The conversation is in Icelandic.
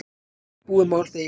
Búið mál þegar ég kem aftur